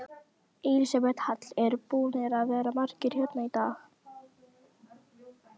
Elísabet Hall: Eru búnir að vera margir hérna í dag?